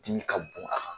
Dimi ka bon a kan